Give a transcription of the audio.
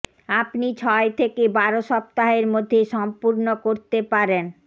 আপনি ছয় থেকে বারো সপ্তাহের মধ্যে সম্পূর্ণ করতে পারেন